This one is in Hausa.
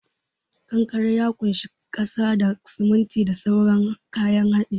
Kankare ya kunshi kasa da, siminti da sauran kayan hadi.